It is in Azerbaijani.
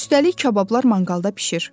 Üstəlik kabablar manqalda bişir.